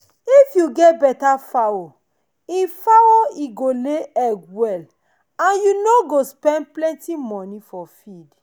if you get better fowl e fowl e go lay egg well and you no go spend plenty money for feed.